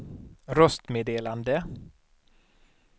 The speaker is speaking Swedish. röstmeddelande